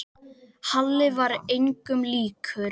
Halli var engum líkur.